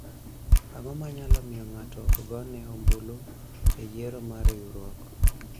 ang'o manyalo miyo ng'ato ok gone ombulu e yiero mar riwruok ?